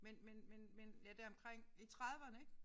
Men men men men ja deromkring i trediverne ik